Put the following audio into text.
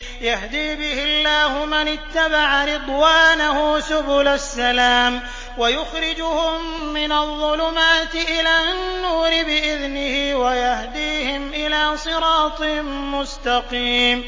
يَهْدِي بِهِ اللَّهُ مَنِ اتَّبَعَ رِضْوَانَهُ سُبُلَ السَّلَامِ وَيُخْرِجُهُم مِّنَ الظُّلُمَاتِ إِلَى النُّورِ بِإِذْنِهِ وَيَهْدِيهِمْ إِلَىٰ صِرَاطٍ مُّسْتَقِيمٍ